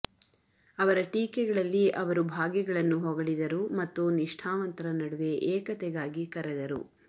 ಅವರ ಟೀಕೆಗಳಲ್ಲಿ ಅವರು ಭಾಗಿಗಳನ್ನು ಹೊಗಳಿದರು ಮತ್ತು ನಿಷ್ಠಾವಂತರ ನಡುವೆ ಏಕತೆಗಾಗಿ ಕರೆದರು